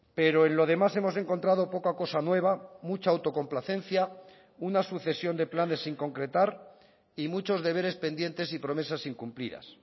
pero en lo demás hemos encontrado poca cosa nueva mucha autocomplacencia una sucesión de planes sin concretar y muchos deberes pendientes y promesas incumplidas